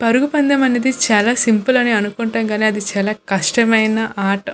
పరుగు పందెం అనేది చాలా సింపుల్ అని అనుకుంటాం కానీ అది చాలా కష్టమైన ఆర్ట్ .